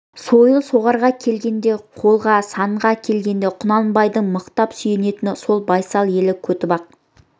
сойыл соғарға келгенде қолға санға келгенде құнанбайдың мықтап сүйенетіні сол байсал елі көтібақ